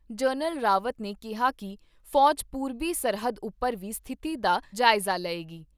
General Rawat ਨੇ ਕਿਹਾ ਕਿ ਫੌਜ ਪੂਰਬੀ ਸਰਹੱਦ ਉਪਰ ਵੀ ਸਥਿਤੀ ਦਾ ਜਾਇਜ਼ਾ ਲਏਗੀ।